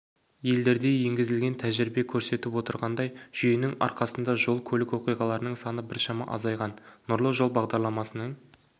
елдерде енгізілген тәжірибе көрсетіп отырғандай жүйенің арқасында жол-көлік оқиғаларының саны біршама азайған нұрлы жол бағдарламасының